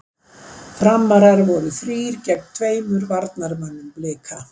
Framrar voru þrír gegn tveimur varnarmönnum Blika.